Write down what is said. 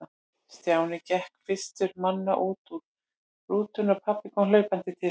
Stjáni gekk fyrstur manna út úr rútunni og pabbi kom hlaupandi til hans.